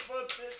Mən qurtartdım.